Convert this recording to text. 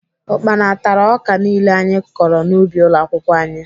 Ukpana tara ọka niile anyị kọrọ n'ubi ụlọakwụkwọ anyị